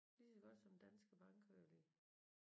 Lige så godt som Danske Bank kører de